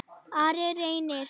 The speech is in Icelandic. Ari Reynir.